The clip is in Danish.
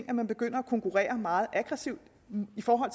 at man begynder at konkurrere meget aggressivt med